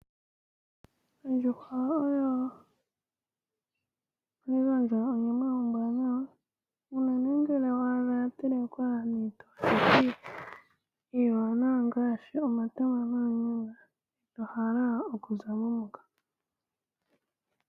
Ondjuhwa oyo hayi gandja onyama ombwaanawa uunene ngele wa adha ya telekwa niitelekithi iiwanawa ngaashi omatama noonyanga ito hala okuza mo moka.